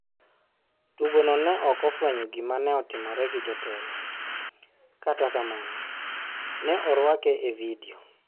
Tugo no ne ok ofwenyo gima ne otimore gi jotelo, kata kamano, ne orwake e vidio.